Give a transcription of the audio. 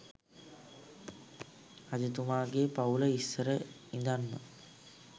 රජතුමාගෙ පවුල ඉස්සර ඉඳන්ම